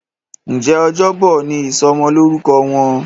Njé Ọjọ́ Bọ̀ ní ìsomo lórúko Wón?